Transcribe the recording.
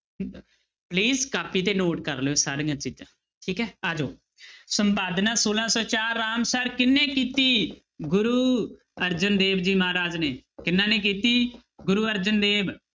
please copy ਤੇ note ਕਰ ਲਇਓ ਸਾਰੀਆਂ ਚੀਜ਼ਾਂ ਠੀਕ ਹੈ ਆ ਜਾਓ ਸੰਪਾਦਨਾ ਛੋਲਾਂ ਸੌ ਚਾਰ ਰਾਮਸਰ ਕਿਹਨੇ ਕੀਤੀ? ਗੁਰੂ ਅਰਜਨ ਦੇਵ ਜੀ ਮਹਾਰਾਜ ਨੇ, ਕਿਹਨਾਂ ਨੇ ਕੀਤੀ? ਗੁਰੂ ਅਰਜਨ ਦੇਵ।